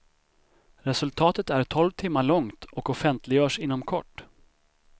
Resultatet är tolv timmar långt och offentliggörs inom kort.